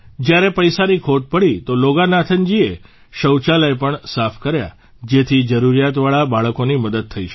જ્યારે પૈસાની ખોટ પડી તો લોગાનાથનજીએ શૌચાલય પણ સાફ કર્યા જેથી જરૂરિયાતવાળા બાળકોની મદદ થઇ શકે